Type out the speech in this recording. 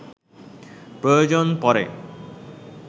প্রয়োজন পড়ে